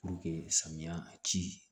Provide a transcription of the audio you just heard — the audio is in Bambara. samiya ci